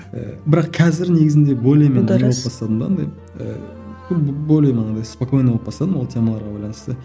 ыыы бірақ қазір негізінде более не болып бастадым да андай ыыы более мынандай спокойно болып бастадым ол темаларға байланысты